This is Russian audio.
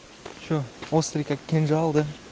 что острый как кинжал да